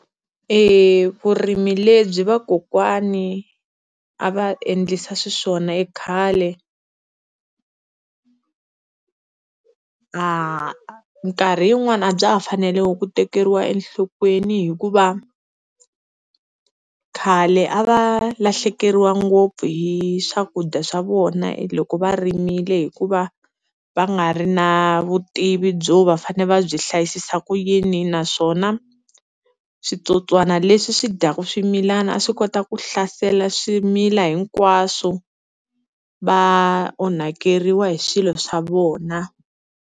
E vurimi lebyi vakokwani a va endlisa xiswona ekhale a minkarhi yin'wani a bya ha fanele ku tekeriwa enhlokweni hikuva khale a va lahlekeriwa ngopfu hi swakudya swa vona hi loko va rimile, hikuva va nga ri na vutivi byo va fanele va byi hlayisisa ku yini, naswona switsotswana leswi swi dyaka swimilana a swi kota ku hlasela swimila hinkwaswo va onhakeriwa hi swilo swa vona.